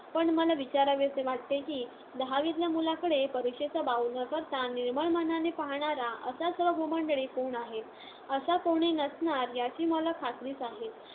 पण मला विचारावेसे वाटते की, दहावीतल्या मुलाकडे परीक्षेचा बाऊ न करता निर्मळ मनाने पाहणारा असा सर्व भूमंडळी कोण आहे? असा कोणीही नसणार याची मला खात्रीच आहे.